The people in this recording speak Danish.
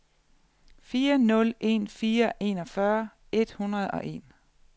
fire nul en fire enogfyrre et hundrede og en